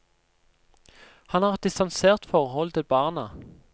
Han har et distansert forhold til barna.